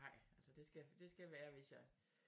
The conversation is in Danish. Nej altså det skal det skal være hvis jeg